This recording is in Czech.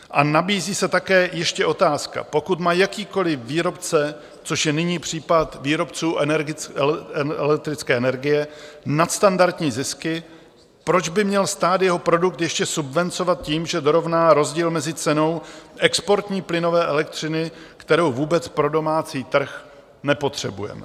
A nabízí se také ještě otázka: Pokud má jakýkoliv výrobce, což je nyní případ výrobců elektrické energie, nadstandardní zisky, proč by měl stát jeho produkt ještě subvencovat tím, že dorovná rozdíl mezi cenou exportní plynové elektřiny, kterou vůbec pro domácí trh nepotřebujeme?